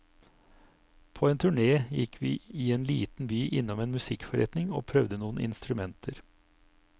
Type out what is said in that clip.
På en turné gikk vi i en liten by innom en musikkforretning og prøvde noen instrumenter.